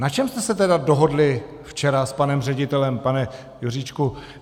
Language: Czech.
Na čem jste se tedy dohodli včera s panem ředitelem, pane Juříčku?